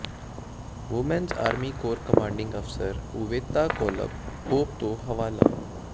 women's army corps commanding officer Oveta Culp Hobby ਤੋਂ ਹਵਾਲਾ